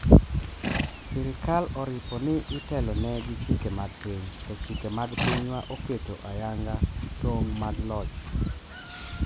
sirikal oripo ni itelo ne gi chike mag piny, to chike mag pinywa oketo ayanga tong' mag loch